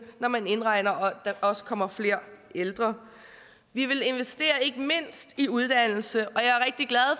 når man indregner at der også kommer flere ældre vi vil investere ikke mindst i uddannelse